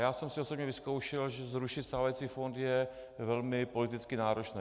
Já jsem si osobně vyzkoušel, že zrušit stávající fond je velmi politicky náročné.